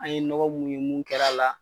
An ye nɔgɔ mun ye mun kɛr'a la